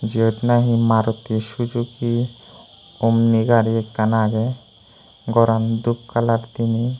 jiyot nahi maruti suzuki omni gari ekkan aage goran dhub colour diney.